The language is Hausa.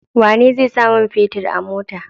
Wane zai sa mun fetir a mota?